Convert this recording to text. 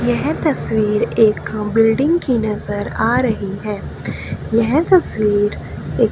यह तस्वीर एक खम बिल्डिंग की नजर आ रही है यह तस्वीर एक--